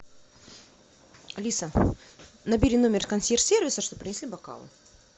алиса набери номер консьерж сервиса чтобы принесли бокалы